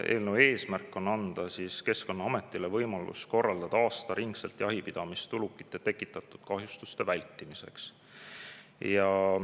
Eelnõu eesmärk on anda Keskkonnaametile võimalus korraldada aastaringselt jahipidamist ulukite tekitatud kahjustuste vältimiseks.